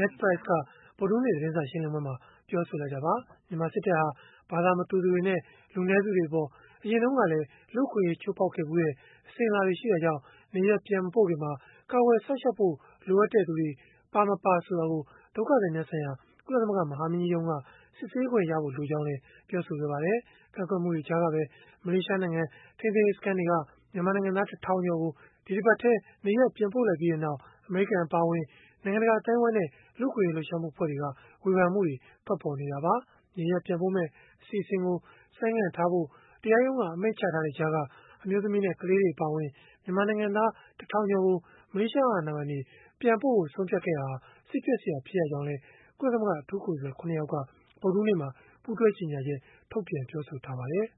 Ned Price က ဗုဒ္ဓဟူးနေ့က သတင်းစာရှင်းလင်းပွဲမှာ ပြောဆိုလိုက်တာပါ။ မြန်မာစစ်တပ်ဟာ ဘာသာမတူသူတွေနဲ့ လူနည်းစုတွေအပေါ် အရင်တုန်းကလည်း လူ့အခွင့်အရေး ချိုးဖောက်ခဲ့ဖူးတဲ့ အစဉ်အလာရှိတာကြောင့် နေရပ်ပြန်မပို့ခင်မှာ ကာကွယ်စောင့်ရှောက်ဖို့ လိုအပ်တဲ့သူတွေ ပါမပါဆိုတာကို ဒုက္ခသည်များဆိုင်ရာ ကုလသမဂ္ဂ မဟာမင်းကြီးရုံးက စစ်ဆေးခွင့်ရဖို့ လိုအပ်ကြောင်းလည်း ပြောဆိုခဲ့ပါတယ်။ ကန့်ကွက်မှုတွေကြားကပဲ မလေးရှားနိုင်ငံ ထိန်းသိမ်းရေး စခန်းတွေက မြန်မာနိုင်ငံသား ၁ ထောင်ကျော်ကို ဒီတပတ်ထဲ နေရပ် ပြန်ပို့လိုက်ပြီးနောက် အမေရိကန် အပါအဝင် နိုင်ငံတကာ အသိုင်းအဝန်းနဲ့ လူ့အခွင့်အရေး လှုပ်ရှားမှု အဖွဲ့တွေက ဝေဖန်မှုတွေ ထွက်ပေါ်နေတာပါ။ နေရပ်ပြန်ပို့မယ့် အစီအစဉ်ကို ဆိုင်းငံ့ထားဖို့ တရားရုံးက အမိန့်ချထားတဲ့ကြားက အမျိုးသမီးနဲ့ ကလေးတွေ အပါအဝင် မြန်မာနိုင်ငံသား ၁ ထောင်ကျော်ကို မလေးရှား အာဏာပိုင်တွေက ပြန်ပို့ဖို့ ဆုံးဖြတ်ခဲ့တာဟာ စိတ်ပျက်စရာ ဖြစ်ရကြောင်းလည်း ကုလသမဂ္ဂ အထူးကိုယ်စားလှယ် ၇ ယောက်က ဗုဒ္ဓဟူးနေ့မှာ ပူးတွဲကြေညာချက် ထုတ်ပြန် ပြောဆိုခဲ့ပါတယ်